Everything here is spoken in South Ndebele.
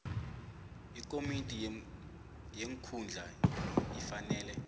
ikomiti yeenkhundla ifanele